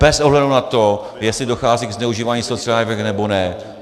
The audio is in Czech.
Bez ohledu na to, jestli dochází ke zneužívání sociálních dávek, nebo ne.